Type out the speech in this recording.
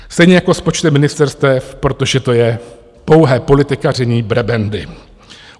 Stejně jako s počtem ministerstev, protože to je pouhé politikaření, prebendy.